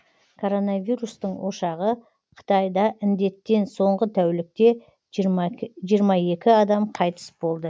коронавирустың ошағы қытайда індеттен соңғы тәулікте жиырма екі адам қайтыс болды